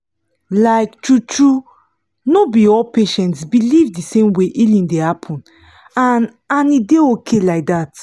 like true-true no be all patients believe the same way healing dey happen — and and e dey okay like that